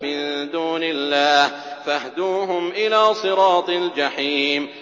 مِن دُونِ اللَّهِ فَاهْدُوهُمْ إِلَىٰ صِرَاطِ الْجَحِيمِ